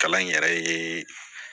Kalan in yɛrɛ ye